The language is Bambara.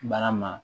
Baara ma